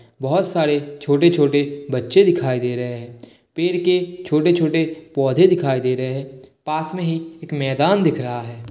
बहुत सारे छोटे-छोटे बच्चे दिखाई दे रहे हैं। पेड़ के छोटे-छोटे पौधे दिखाई दे रहे हैं। पास मे ही एक मैदान दिख रहा है।